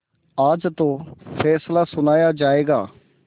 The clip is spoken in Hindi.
आज तो फैसला सुनाया जायगा